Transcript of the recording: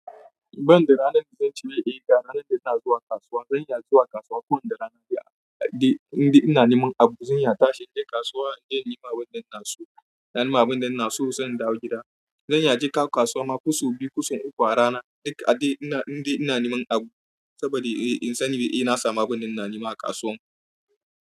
Ban da ranar da zan cire ɗiga, ranar da ina zuwa kasuwa, zan iya zuwa kasuwa ko da rana da, da, indai ina neman abu zan iya tashi in je kasuwa in nemi abinda ina so, na nima abinda ina so sai in dawo gida. Zan iya je kawo kasuwa ma ko sau biyu, ko so uku a rana, dik, a dai ina, indai ina neman abu saboda in sani eh na samu abinda ina nema a kasuwan.